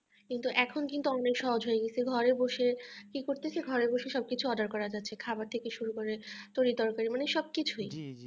কিন্তু এখন কিন্তু অনেক সহজ হয়ে গেছে ঘরে বসে কি করছে ঘরে বসে সব কিছু order করা যাচ্ছে খাবার থেকে শুরু করে তরী তরকারী মানে সব কিছুই